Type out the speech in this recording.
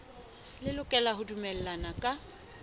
le lokela ho dumellana ka